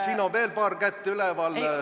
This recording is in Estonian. Siin on veel paar kätt üleval.